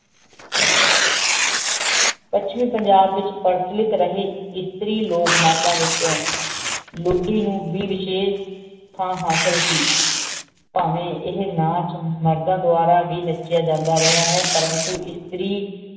ਪਸ੍ਚਮਿ ਪੰਜਾਬ ਵੇਚ ਪੁਨ੍ਸ੍ਲਿਕ ਰਹੀ ਇਸਤਰੀ ਲੋਗ ਨਾਚਾਂ ਵੇਚੁਨ ਲੁਦੀ ਨੂ ਵੇ ਵਾਸ਼ੇਰ ਥਾਂ ਹਾਸਲ ਸੀ ਪਾਵ੍ਯਨ ਇਹ ਨਾਚ ਮਰਦਾਂ ਦੁਆਰਾ ਵੀ ਨਾਚੇਯਨ ਜਾਨ ਦਾ ਰਹਾ ਪਰ ਅੰਤੁ ਇਸਤਰੀ